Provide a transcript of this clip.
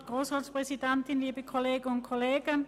Nun erteile ich Grossrätin Speiser das Wort.